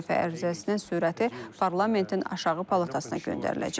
İstefa ərizəsinin sürəti parlamentin aşağı palatasına göndəriləcək.